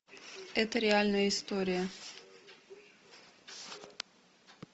это реальная история